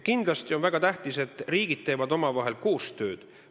Kindlasti on väga tähtis, et riigid teevad koostööd.